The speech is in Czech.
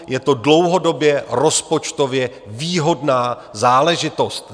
Je to dlouhodobě rozpočtově výhodná záležitost.